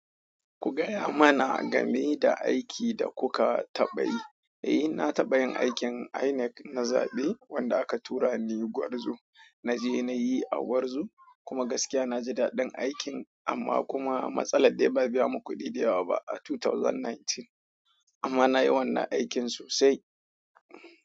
Ku gaya mana game da aiki da kuka taɓa yi. Eh, na taɓa yin aikin INEC na zaɓe wanda aka tura ni Gwarzo. Na je na yi a Gwarzo kuma gaskiya na ji daɗin aikin amma kuma matsala dai ba a biya mu kuɗi da yawa ba a 2019 amma na yi wannan aikin sosai.